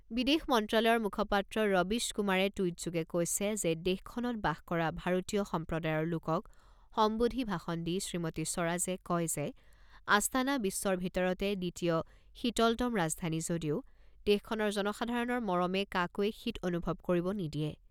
বিদেশ মন্ত্ৰালয়ৰ মুখপাত্ৰ ৰবীশ কুমাৰে টুইটযোগে কৈছে যে দেশখনত বাস কৰা ভাৰতীয় সম্প্ৰদায়ৰ লোকক সম্বোধি ভাষণ দি শ্ৰীমতী স্বৰাজে কয় যে আস্তানা বিশ্বৰ ভিতৰতে দ্বিতীয় শীতলতম ৰাজধানী যদিও দেশখনৰ জনসাধাৰণৰ মৰমে কাকোৱে শীত অনুভৱ কৰিব নিদিয়ে।